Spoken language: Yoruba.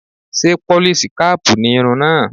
Ṣé pólís kaàpù ni irun náà?